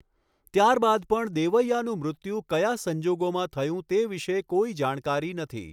ત્યારબાદ પણ દેવૈઆનું મૃત્યુ કયા સંજોગોમાં થયું તે વિશે કોઈ જાણકારી નથી.